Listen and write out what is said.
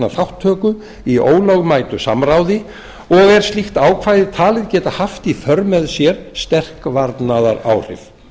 þátttöku í ólögmætu samráði og er slíkt ákvæði talið geta haft í för með sér sterk varnaðaráhrif